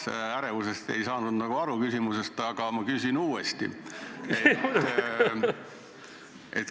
Jah, ärevusest sa ei saanud minu küsimusest aru, küsin siis uuesti.